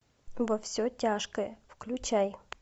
во все тяжкое включай